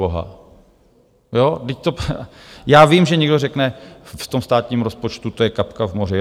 Vždyť já vím, že někdo řekne - v tom státním rozpočtu to je kapka v moři.